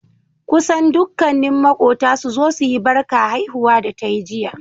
kusan dukkani makota suzo suyi Barka haihuwa da tayi jiya